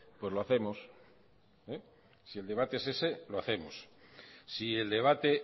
pues lo hacemos si el debate es ese lo hacemos si el debate